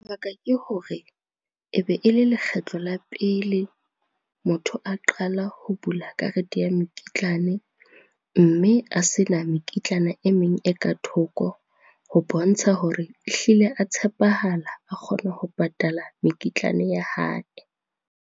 Lebaka ke hore, e be e le lekgetlo la pele, motho a qala ho bula karete ya mekitlane mme a sena mekitlana e meng e ka thoko ho bontsha hore ehlile a tshepahala, a kgona ho patala mekitlane ya hae.